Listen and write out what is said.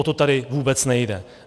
O to tady vůbec nejde.